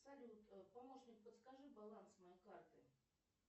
салют помощник подскажи баланс моей карты